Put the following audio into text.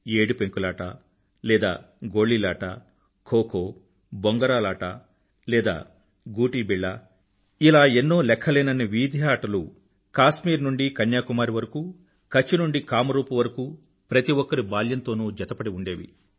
ఏడు పెంకులాట లేదా గోళీలాట ఖో ఖో బొంగరాలాట లేదా గూటీ బిళ్ల ఇలా ఎన్నో లెఖ్ఖలేనన్ని వీధి ఆటలు కాశ్మీరు నుండీ కన్యాకుమారి వరకూ కచ్ నుండి కామరూప్ వరకూ ప్రతి ఒక్కరి బాల్యంతోనూ జతపడి ఉండేవి